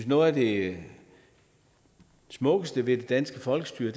noget af det smukkeste ved det danske folkestyre